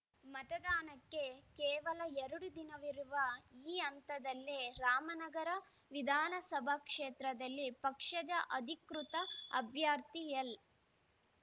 ಮತದಾನಕ್ಕೆ ಕೇವಲ ಎರಡು ದಿನವಿರುವ ಈ ಹಂತದಲ್ಲಿ ರಾಮನಗರ ವಿಧಾನಸಭಾ ಕ್ಷೇತ್ರದಲ್ಲಿ ಪಕ್ಷದ ಅಧಿಕೃತ ಅಭ್ಯರ್ಥಿ ಎಲ್‌